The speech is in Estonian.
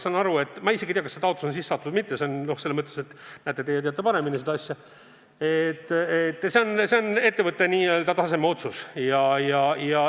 Ma isegi ei tea, kas see taotlus on sisse antud või mitte – näete, teie teate seda paremini –, see on n-ö ettevõtte tasandi otsus.